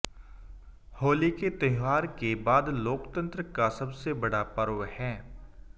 होली के त्यौहार के बाद लोकतंत्र का सबसे बड़ा पर्व है